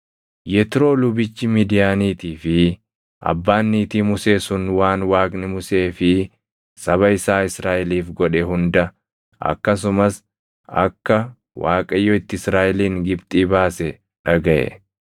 Yetroo lubichi Midiyaaniitii fi abbaan niitii Musee sun waan Waaqni Musee fi saba isaa Israaʼeliif godhe hunda, akkasumas akka Waaqayyo itti Israaʼelin Gibxii baase dhagaʼe.